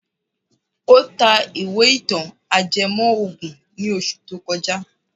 Ó ta ìwé ìtàn ajẹmọ́ ògùn ní oṣù tó kọjá.